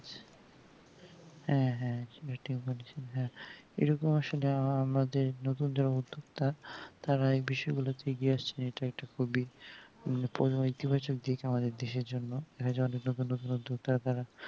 হ্যাঁ হ্যাঁ ওটাই বলছি যে এরকম আসলে আমাদের নতুন যে উদ্যোগটা তারা এই বিষয় গুলোতে এগিয়ে আসছে এটা একটা খুবই প্রোবইতিবাচক দিক আমাদের দেশের জন্য